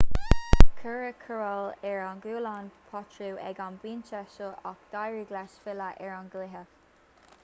cuireadh cóireáil ar ghualainn potro ag an bpointe seo ach d'éirigh leis filleadh ar an gcluiche